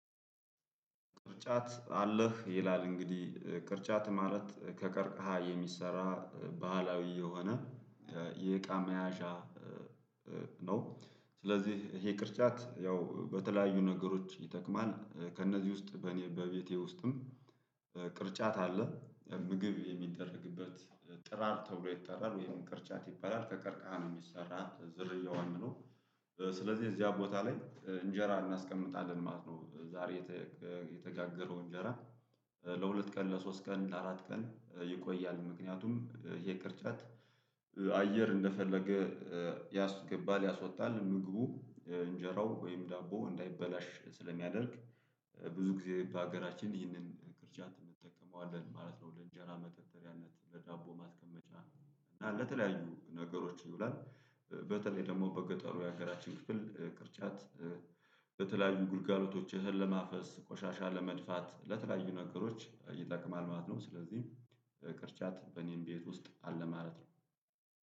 ቅርጫት አለህ ይላል እንግዲህ ቅርጫት ማለት ከቀርቀሃ የሚሰራ ባህላዊ የሆነ የእቃ መያዣ። ነው ስለዚህ ይሄ ቅርጫት ያው በተለያዩ ነገሮች ይጠቅማል። ከእነዚህ ውስጥ በእኔ በቤቴ ውስጥም ቅርጫት አለ። ምግብ የሚደረግበት ጥራር ተብሎ ይጠራል ወይም ቅርጫት ይባላል ከቀርቃሃ ነው የሚሰራ ዝርያዋን ነው። ስለዚህ እዚያ ቦታ ላይ እንጀራ እናስቀምጣለን ማለት ነው። ዛሬ የተጋገረው እንጀራ ለሁለት ቀን ለሶስት ቀን ለአራት ቀን ይቆያል። ምክንያቱም ይሄ ቅርጫት አየር እንደፈለገ ያስገባል ያስወጣል ምግቡ እንጀራው ወይም ዳቦ እንዳይበላሽ ስለሚያደርግ። ብዙ ጊዜ በሀገራችን ይህንን ቅርጫት እንጠቀመዋለን ማለት ነው። ለእንጀራ መደርደሪያነት ለዳቦ ማስቀመጫ እና ለተለያዩ ነገሮች ይውላል። በተለይ ደግሞ በገጠሩ ያገራችን ክፍል ቅርጫት። በተለያዩ ግልጋሎቶች እህል ለማፈስ ቆሻሻ ለመድፋት ለተለያዩ ነገሮች ይጠቅማል ማለት ነው። ስለዚህ ቅርጫት በእኔም ቤት ውስጥ አለ ማለት ነው